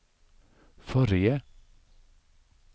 forrige